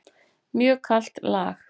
Mjög kalt lag.